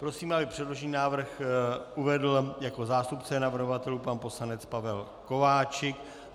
Prosím, aby předložený návrh uvedl jako zástupce navrhovatelů pan poslanec Pavel Kováčik.